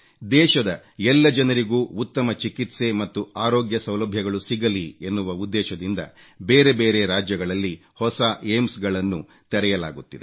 ದೇಶದ ಎಲ್ಲ ಜನರಿಗೂ ಉತ್ತಮ ಚಿಕಿತ್ಸೆ ಮತ್ತು ಅರೋಗ್ಯ ಸೌಲಭ್ಯಗಳು ಸಿಗಲಿ ಎನ್ನುವ ಉದ್ದೇಶದಿಂದ ಬೇರೆ ಬೇರೆ ರಾಜ್ಯಗಳಲ್ಲಿ ಹೊಸ ಏಮ್ಸ್ ಗಳನ್ನು ತೆರೆಯಲಾಗುತ್ತಿದೆ